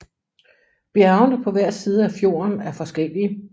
Bjergene på hver side af fjorden er forskellige